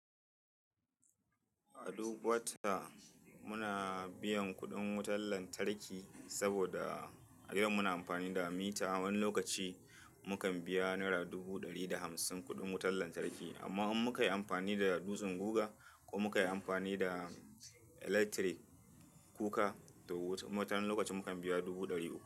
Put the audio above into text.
A duk wata, muna biyan kuɗin wutar lantarki saboda a yau muna amfani da mita. Wani lokaci, mu kan biya naira dubu ɗari da hamsin kuɗin wutar lantarki, amma in muka yi amfani da dutsen guga, ko muka yi amfani da electric kuka da wutar, wani lokaci mu kan biya dubu ɗari uku.